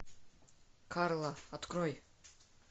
карла открой